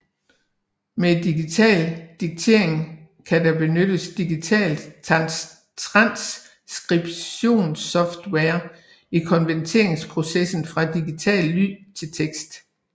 Med digital diktering kan der benyttes digital transkribtions software i konverteringsprocessen fra digital lyd til tekst